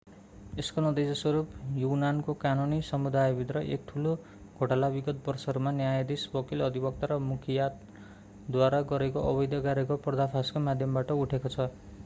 यसको नतिजा स्वरूप युनानको कानुनी समुदायभित्र एक ठूलो घोटाला विगत वर्षहरूमा न्यायाधीश वकिल अधिवक्ता र मुख्तियारद्वारा गरेको अवैध कार्यको पर्दाफासको माध्यमबाट उठेको छ